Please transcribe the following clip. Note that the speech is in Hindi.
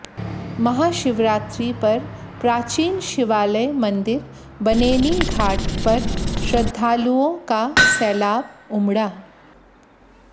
महाशिवरात्रि पर प्राचीन शिवालय मंदिर बनेनीघाट पर श्रद्धालुओं का सैलाब उमड़ा